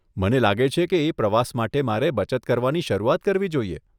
મને લાગે છે કે એ પ્રવાસ માટે મારે બચત કરવાની શરૂઆત કરવી જોઈએ.